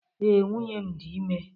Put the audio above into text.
Ee, nwunye m dị ime.